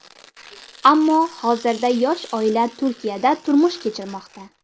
Ammo hozirda yosh oila Turkiyada turmush kechirmoqda.